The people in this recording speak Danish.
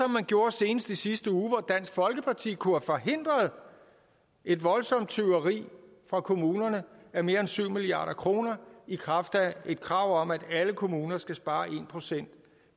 man gjorde senest i sidste uge hvor dansk folkeparti kunne have forhindret et voldsomt tyveri fra kommunerne af mere end syv milliard kroner i kraft af et krav om at alle kommuner skal spare en procent